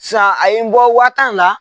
Sisan a ye' n bɔ waa tan la.